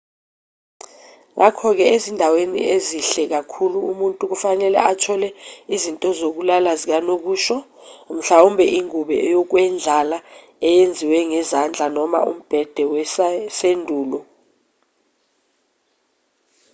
ngakho-ke ezindaweni ezihle kakhulu umuntu kufanele athole izinto zokulala zikanokusho mhlawumbe ingube yokwendlala eyenziwe ngezandla noma umbhede wasendulo